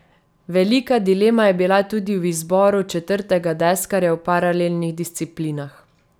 Velika dilema je bila tudi v izboru četrtega deskarja v paralelnih disciplinah.